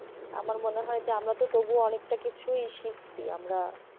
আমার মনে হয় যে আমরা তো তবুও অনেকটা কিছুই শিখছি আমরা।